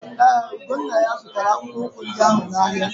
Ee, Ugonnaya zụtara akpụkpọ ụkwụ ndị ahụ n'ahịa.